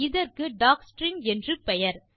இதற்கு டாக்ஸ்ட்ரிங் என்று பெயர்